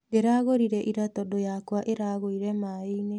Ndĩragũrire ira tondũ yamwa ĩragũire mai-inĩ.